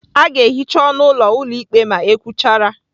A ga-ehicha ọnụ ụlọ ụlọ ikpe ma e kwuchara.